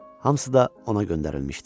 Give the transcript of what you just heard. Hamısı da ona göndərilmişdi.